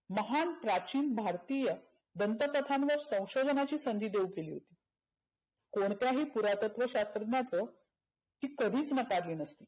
महान प्राचीन भारतीय दंत कथांवर संशोधनाची संधी येऊ केली होती. कोणत्याही पुरातत्व शास्रज्ञाचं ही कधीच नकारली नसती.